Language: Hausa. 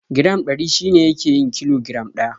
Giram Ɗari shi ne yake yin kilo giram ɗaya.